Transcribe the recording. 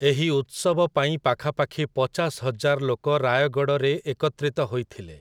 ଏହି ଉତ୍ସବ ପାଇଁ ପାଖାପାଖି ପଚାଶ ହଜାର ଲୋକ ରାୟଗଡ଼ରେ ଏକତ୍ରିତ ହୋଇଥିଲେ ।